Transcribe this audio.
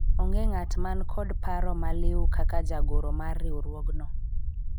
onge ng'at man kod paro maliwu kaka jagoro mar riwruogno